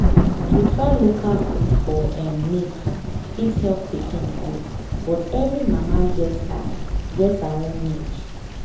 to try local food for um milk fit help pikin grow but every mama get her get her own need.